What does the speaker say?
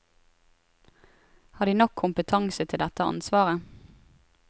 Har de nok kompetanse til dette ansvaret?